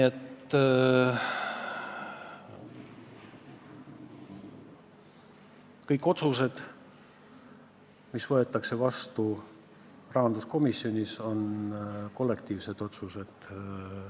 Kõik otsused, mis rahanduskomisjonis vastu võetakse, on kollektiivsed otsused.